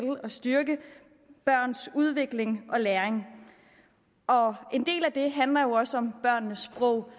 styrke børns udvikling og læring og og en del af det handler jo også om børnenes sprog